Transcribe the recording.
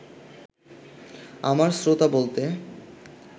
আমার শ্রোতা বলতে